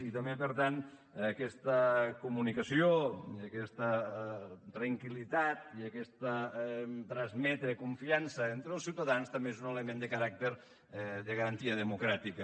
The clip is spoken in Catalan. i també per tant aquesta comunicació aquesta tranquillitat i aquest transmetre confiança entre els ciutadans també és un element de caràcter de garantia democràtica